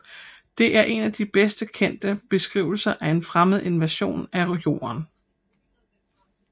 Det er en af de bedst kendte beskrivelser af en fremmed invasion af Jorden